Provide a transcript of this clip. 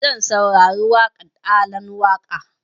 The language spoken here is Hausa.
Zan saurari waƙan Alan Waƙa